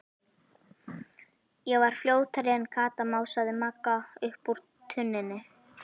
Ég var fljótari en Kata, másaði Magga upp úr tunnunni.